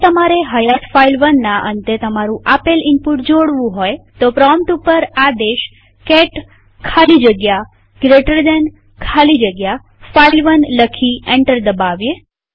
જો તમારે હયાત file1ના અંતે તમારું આપેલ ઈનપુટ જોડવું હોય તો પ્રોમ્પ્ટ ઉપર આદેશ કેટ ખાલી જગ્યા જીટી ખાલી જગ્યા ફાઇલ1 લખી એન્ટર દબાવીએ